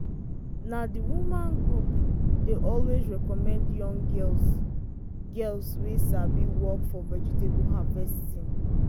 na the women group dey always recommend young girls girls wey sabi work for vegetable harvesting.